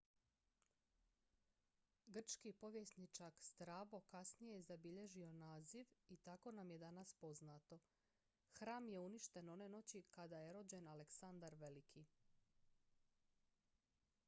grčki povjesničak strabo kasnije je zabilježio naziv i tako nam je danas poznato hram je uništen one noći kada je rođen aleksandar veliki